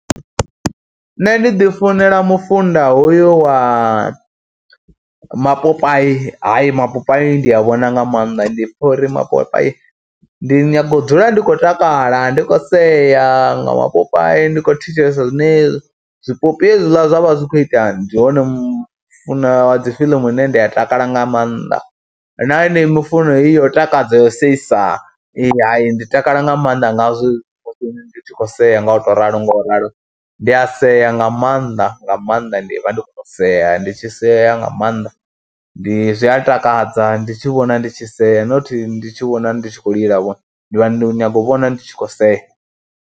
Nṋe ndi ḓi funela mufunda hoyu wa mapopayi, hayi mapopayi ndi a vhona nga maanḓa ndi pfha uri mapopayi, ndi nyaga u dzula ndi khou takala, ndi khou sea nga mapopayi, ndi khou thetshelesa zwine zwipopi hezwila zwa vha zwi khou ita. Ndi hone mu funa wa dzi fiḽimu ine ndi a takala nga maanḓa na enei mifuno yo takadza, yo seisa ya ndi takala nga maanḓa ngazwo ndi tshi khou sea nga u tou ralo nga u ralo. Ndi a sea nga maanḓa nga maanḓa, ndi vha ndi khou sea ndi tshi sedza nga maanḓa, ndi zwi a takadza ndi tshi vhona ndi tshi sea not ndi tshi vhona ndi tshi khou lilavho ndi vha ndi nyago u vhona ndi tshi khou sea.